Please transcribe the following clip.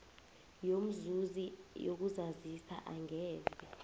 yomzuzi yokuzazisa angeze